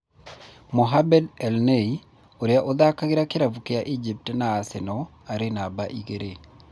Mohamed El Neny ũria ũthakagira kĩravũkĩa Egypt na Arsenal arĩ numba igĩrĩ.